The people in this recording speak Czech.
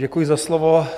Děkuji za slovo.